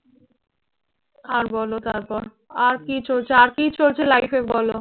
আর বলো তারপর আর কি চলছে? আর কি চলছে life এ বলো?